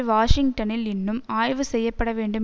வாஷிங்டனில் இன்னும் ஆய்வு செய்ய படவேண்டும்